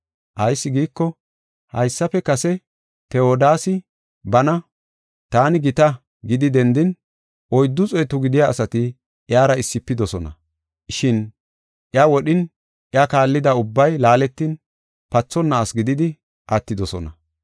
Ayis giiko, haysafe kase Tewodaasi bana, ‘Taani gita’ gidi dendin, oyddu xeetu gidiya asati iyara issifidosona. Shin iya wodhin iya kaallida ubbay laaletin pathonna asi gididi attidosona.